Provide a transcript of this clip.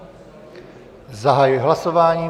Zahajuji hlasování.